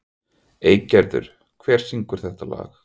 Eygerður, hver syngur þetta lag?